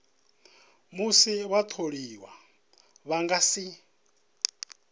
musi vhatholiwa vha nga si